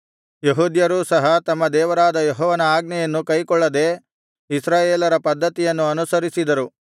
ಯೆಹೂದ್ಯರೂ ಸಹ ತಮ್ಮ ದೇವರಾದ ಯೆಹೋವನ ಆಜ್ಞೆಯನ್ನು ಕೈಕೊಳ್ಳದೆ ಇಸ್ರಾಯೇಲರ ಪದ್ಧತಿಯನ್ನು ಅನುಸರಿಸಿದರು